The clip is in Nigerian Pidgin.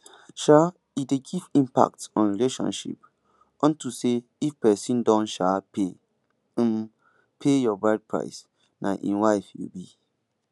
um e dey give impact on relationship unto say if pesin don um pay um pay your bride price na im wife you be